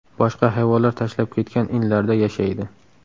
Boshqa hayvonlar tashlab ketgan inlarda yashaydi.